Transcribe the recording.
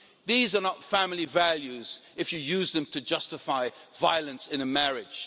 These are not family values if you use them to justify violence in a marriage.